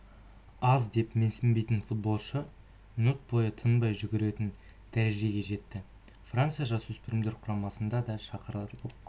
аз деп менсінбейтін футболшы минут бойы тынбай жүгіретін дәрежеге жетті франция жасөспірімдер құрамасына да шақырылып